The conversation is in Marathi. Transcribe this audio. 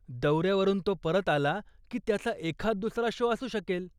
दौऱ्यावरून तो परत आला की त्याचा एखाददुसरा शो असू शकेल.